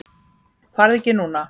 Farðu ekki núna!